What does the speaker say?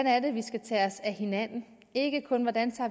er vi skal tage os af hinanden og ikke kun hvordan